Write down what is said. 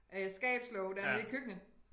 Øh skabslåge dernede i køkkenet